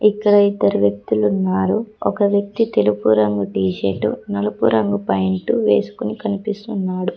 ఇక్కడ ఇద్దరు వ్యక్తులున్నారు ఒక వ్యక్తి తెలుపు రంగు టీషర్టు నలుపు రంగు ప్యాయింటు వేసుకుని కనిపిస్తున్నాడు.